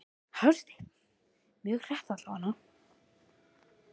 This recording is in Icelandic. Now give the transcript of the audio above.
Hafsteinn: Mjög hratt allavega?